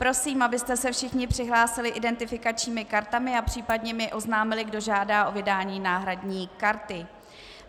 Prosím, abyste se všichni přihlásili identifikačními kartami a případně mi oznámili, kdo žádá o vydání náhradní karty.